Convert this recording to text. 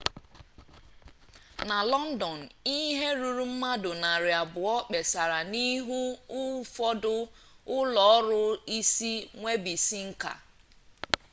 na lọndọn ihe ruru mmadụ narị abụọ kpesara n'ihu ụfọdụ ụlọọrụ isi nwebisiinka